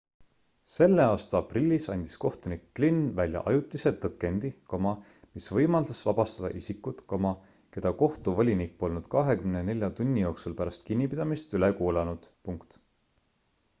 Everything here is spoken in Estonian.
selle aasta aprillis andis kohtunik glynn välja ajutise tõkendi mis võimaldas vabastada isikud keda kohtuvolinik polnud 24 tunni jooksul pärast kinnipidamist üle kuulanud